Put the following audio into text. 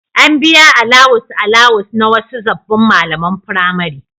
An biya alawus-alawus na wasu sabbin malaman firamare.